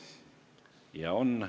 Ja on.